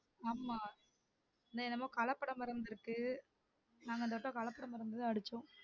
ஆமா அதா எல்லாமே கலப்பட மருந்து இருக்கு நாங்க இந்த வாட்ட கலப்பட மருந்து தான் அடிச்சோம்